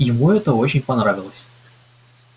ему это очень понравилось